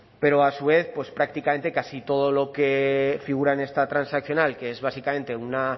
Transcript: pero a su vez prácticamente casi todo lo que figura en esta transaccional que es básicamente una